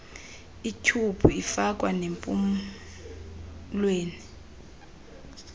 ityhubhu ifakwa nempumlweni